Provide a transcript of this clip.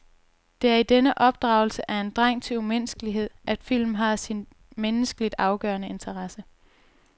Det er i denne opdragelse af en dreng til umenneskelighed, at filmen har sin menneskeligt afgørende interesse.